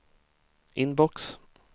inbox